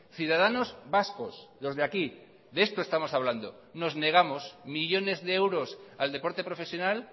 ciudadanos vascos los de aquí de esto estamos hablando nos negamos millones de euros al deporte profesional